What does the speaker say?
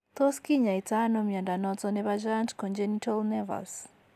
Tos kinyaito ano mnyondo noton nebo Giant congenital nevus